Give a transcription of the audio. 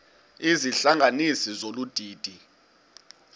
izihlanganisi zolu didi